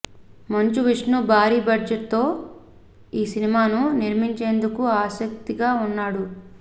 మంచు విష్ణు భారీ బడ్జెట్తో ఈ సినిమాను నిర్మించేందుకు ఆసక్తిగా ఉన్నాడు